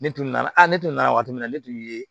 Ne tun nana a ne tun nana waati min na ne tun ye